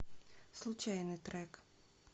случайный трек